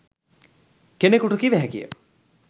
කෙනකුට කිව හැකිය.